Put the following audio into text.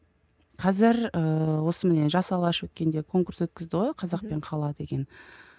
қазір ыыы осы міне жас алаш өткенде конкурс өткізді ғой қазақ пен қала деген